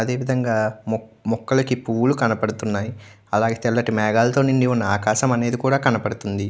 అదే విధం గ మొక్కలకి పువ్వులు కనపడుతున్నాయి. అలాగే తెల్లటి మేఘాలతి నిండి ఉన్న ఆకాశమనేది కనబడుతుంది.